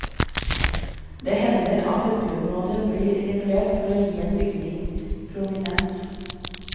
Det hender at et byområde blir regulert for å gi en bygning prominens.